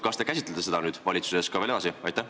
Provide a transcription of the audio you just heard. Kas te käsitlete seda nüüd valitsuses edasi?